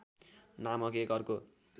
नामक एक अर्को